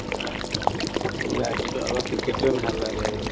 নাই কিন্তু আমাৰ cricket তোয়ে ভাল লাগে আৰু